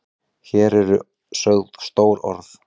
Hér eru sögð stór orð.